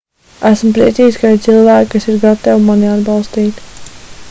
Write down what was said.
esmu priecīgs ka ir cilvēki kas ir gatavi mani atbalstīt